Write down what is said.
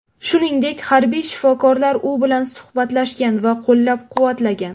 Shuningdek, harbiy shifokorlar u bilan suhbatlashgan va qo‘llab-quvvatlagan.